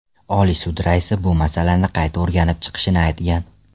Oliy sud raisi bu masalani qayta o‘rganib chiqishini aytgan.